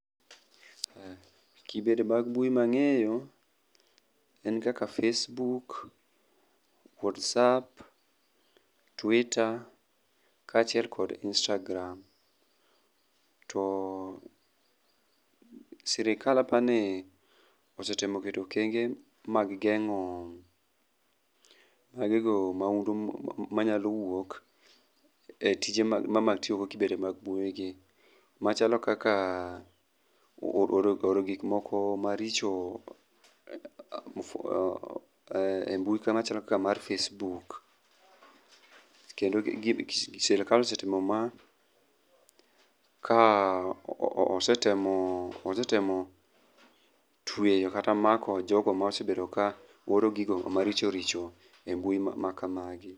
Kibede mag mbui mangeyo en kaka facebook, whatsapp, twttwer kachiel kod instagram. To sirkal apani osetemo keto okenge mag gengo maundu manyalo wuok e tije mag e kibede mag mbui gi machalo kaka oro gik moko maricho e mbui machalo kaka mar facebook kendo sirkal osetimo ma ka osetemo, osetemo tweyo kata mako jogo ma osebedo kaoro gigo ma richo richo e mbui machal kamagi